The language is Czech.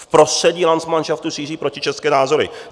V prostředí landsmanšaftu šíří protičeské názory.